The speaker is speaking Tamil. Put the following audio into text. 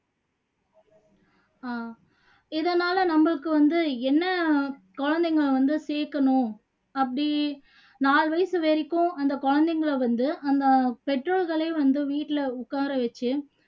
ஆஹ் இதனால நம்மளுக்கு வந்து என்ன குழந்தைங்களை வந்து சேக்கணும் அப்படி நாலு வயசு வரைக்கும் அந்த குழந்தைங்களை வந்து அந்த பெற்றோர்களே வந்து வீட்டுல உக்கார வச்சு